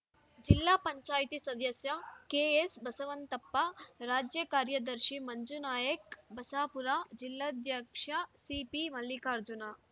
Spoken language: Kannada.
ಜಿಲ್ಲಾ ಪಂಚಾಯಿತಿ ಸದಸ್ಯ ಕೆಎಸ್‌ಬಸವಂತಪ್ಪ ರಾಜ್ಯ ಕಾರ್ಯದರ್ಶಿ ಮಂಜುನಾಯ್ಕ ಬಸಾಪುರ ಜಿಲ್ಲಾಧ್ಯಕ್ಷ ಸಿಪಿಮಲ್ಲಿಕಾರ್ಜುನ